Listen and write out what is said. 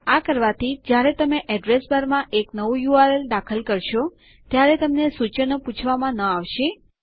આ કરવાથી જ્યારે તમે અડ્રેસ બારમાં એક નવું યુઆરએલ દાખલ કરશો ત્યારે તમને સૂચનો પૂછવામાં ન આવશે